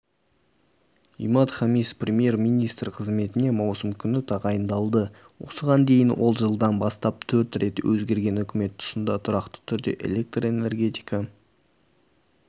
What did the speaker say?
имад хамис премьер-министр қызметіне маусым күні тағайындалды осыған дейін ол жылдан бастап төрт рет өзгерген үкімет тұсында тұрақты түрде электр энергетика